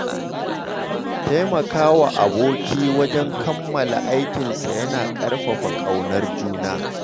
Taimaka wa aboki wajen kammala aikinsa yana ƙarfafa ƙaunar juna.